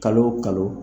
Kalo o kalo